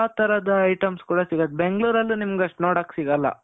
ಎಲ್ಲಾ ತರದ items ಗಳು ಸಿಗುತ್ತೆ. ಬೆಂಗಳೂರಲ್ಲೂ ನಿಮ್ಗಷ್ಟು ನೋಡಕ್ ಸಿಗಲ್ಲ.